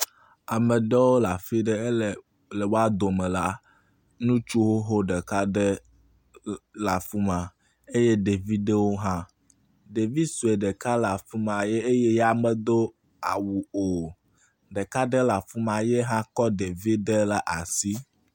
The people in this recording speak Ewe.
Ame aɖewo le afi aɖe ele woa dome la ŋutsu xoxo ɖeka ɖe l le afi ma eye ɖevi aɖewo hã. Ɖevi sue ɖeka le afi ma eye ya medoawu o. Ɖeka aɖe le afi ma eye ya hã kɔ ɖevi aɖe ɖe asi.